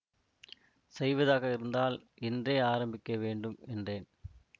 செய்வதாக இருந்தால் இன்றே ஆரம்பிக்க வேண்டும் என்றேன்